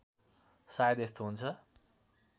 शायद यस्तो हुन्छ